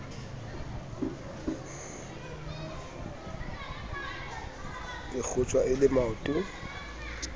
e kgotjwa e le maoto